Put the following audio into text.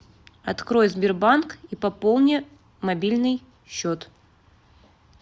открой сбербанк и пополни мобильный счет